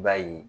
I b'a ye